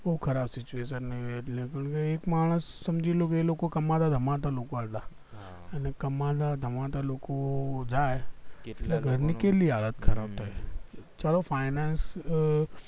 બૌ ખરાબ situation એ એટલે એક માણસ સમજી લ્યો એ લોકો કમાતા ધમાતા લોકો હતા લે કમાતા ધમાતા લોકો જાય તો ઘરની કેટલી હાલત ખરાબ થાય ચાલો finance